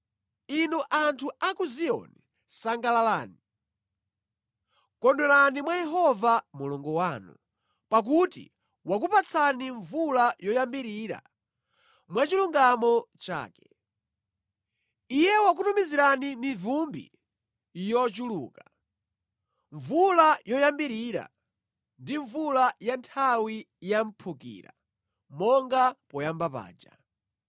Inu anthu a ku Ziyoni sangalalani, kondwerani mwa Yehova Mulungu wanu, pakuti wakupatsani mvula yoyambirira mwachilungamo chake. Iye wakutumizirani mivumbi yochuluka, mvula yoyambirira ndi mvula ya nthawi ya mphukira, monga poyamba paja.